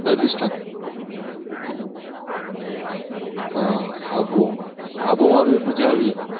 રાજસ્થાન હા આબુ માં પણ મજા આવી જાય.